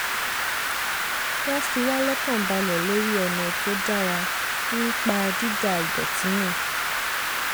wọ́n fiwá lọ́kàn balẹ̀ lórí ọ̀nà tó dára ńpa dída idọ̀tí nù